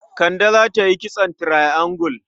Kande za ta yi kitson triangle.